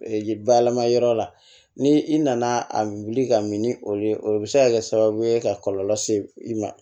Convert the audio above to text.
bayɛlɛma yɔrɔ la ni i nana a wuli ka min ni olu ye o bɛ se ka kɛ sababu ye ka kɔlɔlɔ se i ma